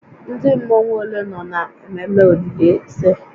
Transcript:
Ndị mmọnwu ole nọ na ememe olili ze?